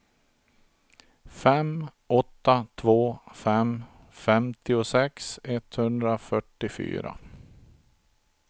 fem åtta två fem femtiosex etthundrafyrtiofyra